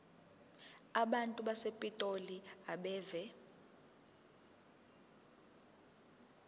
abantu basepitoli abeve